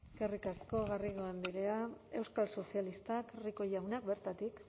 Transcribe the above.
eskerrik asko garrido andrea euskal sozialistak rico jauna bertatik